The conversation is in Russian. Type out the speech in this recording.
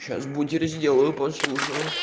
сейчас бутеры сделаю прослушаю